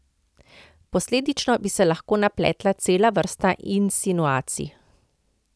Posledično bi se lahko napletla cela vrsta insinuacij.